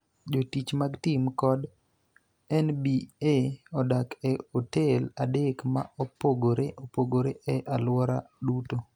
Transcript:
Jotich mag tim kod NBA odak e otel adek ma opogore opogore e alwora duto,